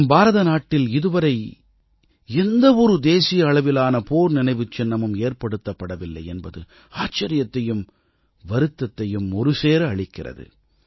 நம் பாரத நாட்டில் இதுவரை எந்த ஒரு தேசிய அளவிலான போர் நினைவுச் சின்னமும் ஏற்படுத்தப்படவில்லை என்பது ஆச்சரியத்தையும் வருத்தத்தையும் ஒருசேர அளிக்கிறது